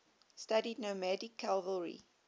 studied nomadic cavalry